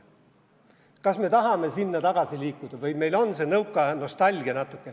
Kas me tahame sinna tagasi liikuda või meil on see nõukaaja nostalgia?